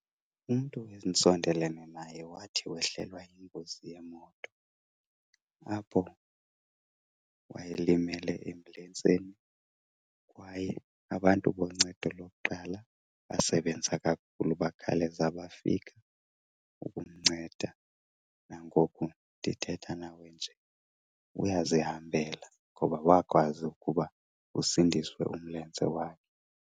Umntu endisondelene naye wathi wehlelwa yingozi yemoto apho wayelimele emlenzeni kwaye abantu boncedo lokuqala basebenza kakhulu, bakhawuleze bafika ukumnceda. Nangoku ndithetha nawe nje uyazihambela ngoba wakwazi ukuba usindiswe umlenze wakhe.